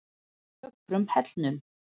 Ökrum Hellnum